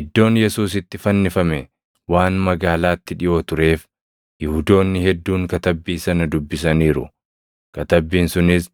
Iddoon Yesuus itti fannifame waan magaalaatti dhiʼoo tureef Yihuudoonni hedduun katabbii sana dubbisaniiru; katabbiin sunis